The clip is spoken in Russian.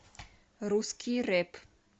русский рэп